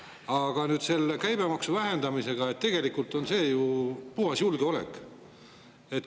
Aga nüüd, see käibemaksu vähendamine on tegelikult ju puhas julgeoleku.